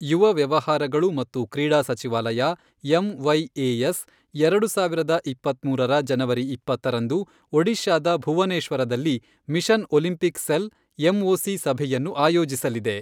ಯುವ ವ್ಯವಹಾರಗಳು ಮತ್ತು ಕ್ರೀಡಾ ಸಚಿವಾಲಯ ಎಂವೈಎಎಸ್, ಎರಡು ಸಾವಿರದ ಇಪ್ಪತ್ಮೂರರ ಜನವರಿ ಇಪ್ಪತ್ತರಂದು, ಒಡಿಶಾದ ಭುವನೇಶ್ವರದಲ್ಲಿ ಮಿಷನ್ ಒಲಿಂಪಿಕ್ ಸೆಲ್, ಎಂಒಸಿ ಸಭೆಯನ್ನು ಆಯೋಜಿಸಲಿದೆ.